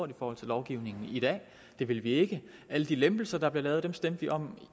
i forhold til lovgivningen i dag det vil vi ikke alle de lempelser der bliver lavet stemte vi om